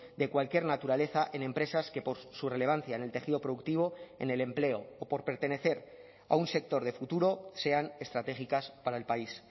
de cualquier naturaleza en empresas que por su relevancia en el tejido productivo en el empleo o por pertenecer a un sector de futuro sean estratégicas para el país